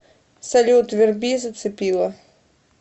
салют верби зацепила